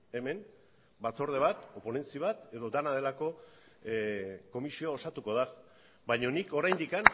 hemen batzorde bat ponentzi bat edo dena delako komisioa osatuko da baina nik oraindik